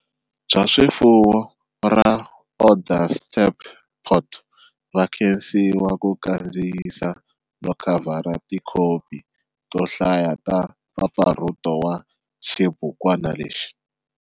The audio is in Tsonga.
Bya swifuwo ra Onderstepoort va khensiwa ku kandziyisa no khavhara tikhopi to hlaya ta mpfapfarhuto wa xibukwana lexi.